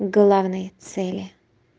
главные цели